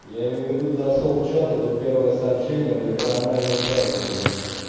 я имею в виду зашёл в чат этот первое сообщение блять про анальные шарики епт